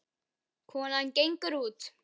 Konan gengur út.